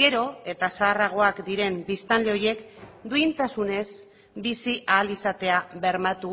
gero eta zaharragoak diren biztanle horiek duintasunez bizi ahal izatea bermatu